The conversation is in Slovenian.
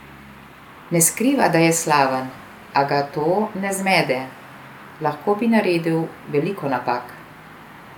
Ne skriva, da je slaven, a ga to ne zmede: "Lahko bi naredil veliko napak.